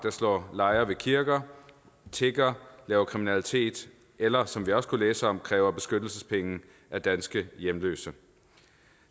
slår lejre ved kirker tigger laver kriminalitet eller som vi også kunne læse om kræver beskyttelsespenge af danske hjemløse